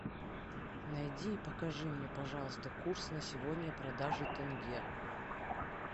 найди и покажи мне пожалуйста курс на сегодня продажи тенге